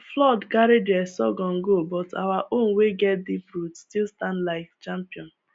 flood carry their sorghum go but our own wey get deep root still stand like champion